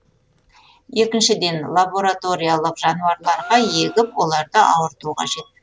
екіншіден лабораториялық жануарларға егіп оларды ауырту қажет